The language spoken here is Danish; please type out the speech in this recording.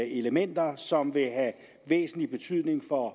elementer som vil have væsentlig betydning for